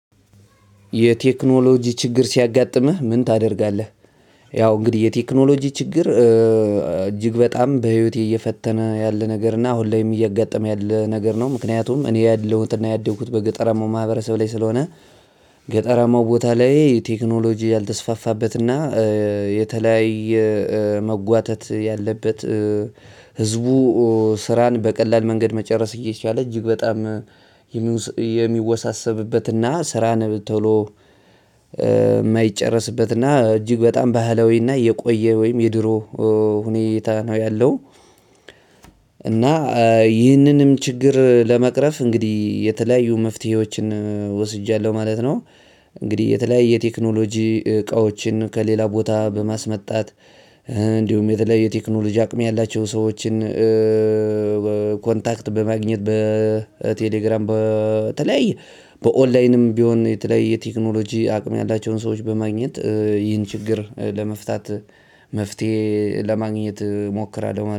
የቴክኖሎጂ ችግር ሲያጋጥምህ ምን ታደርጋለህ? ያው እንግዲህ የቴክኖሎጂ ችግር እጅግ በጣም በህይወቴ እየፈተነ ያለነገርና አሁን ላይም እያጋጠመ ያለ ነገር ነው ምክንያቱም እኜ ኣለሁትና ያደኩት በገጠራማው ማህበረሰብ ላይ ስለሆነ። ገጠራማው ቦታ ላይ ቴክኖሎጂ ያልተስፋፋበትና የተለያየ መጓተት ያለበት። ህዝቡ ስራን በቀላል መንገድ መጨረስ እየቻለ እጅግ በጣም የሚወሳሰብበትና ስራን ቶሎ የማይጨረስበትና እጅግ በጣም ባህላዊና የቆየ ወይም የድሮ ሁኔታ ነው ያለው። እና ይህንንም ችግር መቅረፍ እንግዲህ የተለያዩ ምፍትሄዎችን ወስጃለው ማለት ነው። እንግዲህ የተለያየ የቴክኖሎጂ እቃዎችን ከሌላ ቦታ በማስመጣት እንዲሁም የተለያየ የቴክኖሎጂ አቅም ያላቸው ሰዎችን። ኮንታክት በማግኘት በቴሌግራም በተለያየ በኦንላይንም ቢሆን የተለያየ የቴክኖሎጂ አቅም ያላቸውን ሰዎች በማግኘት ይህን ችግር ለመፍታት መፍትሄ ለማግኘት እሞክራለሁ